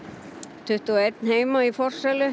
tuttugu og einn heima í forsælu